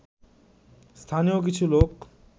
স্থানীয় কিছু লোক